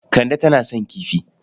Kande tana son kifi.